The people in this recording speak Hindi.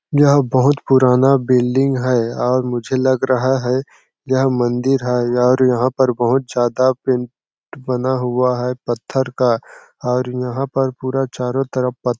यह बहुत पुराना बिल्डिंग है और मुझे लग रहा है यह मंदिर है और यहाँ पर बहुत ज्यादा पेंट बना हुआ है पत्थर का और यहाँ पर पूरा चारों तरफ पत्--